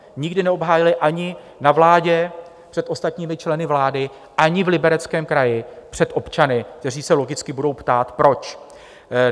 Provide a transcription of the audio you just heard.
Nikdy neobhájili ani na vládě před ostatními členy vlády, ani v Libereckém kraji před občany, kteří se logicky budou ptát - proč?